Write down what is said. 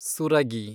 Suragi